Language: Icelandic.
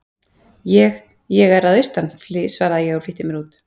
Ég. ég er að austan, svaraði ég og flýtti mér út.